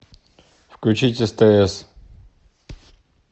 включить стс